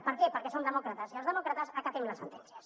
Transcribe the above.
per què perquè som demòcrates i els demòcrates acatem les sentències